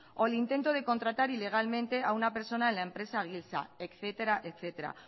o el intento de contratar ilegalmente a una persona en la empresa etcétera etcétera